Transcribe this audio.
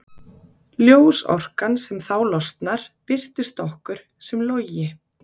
Ljósorkan sem þá losnar birtist okkur sem logi.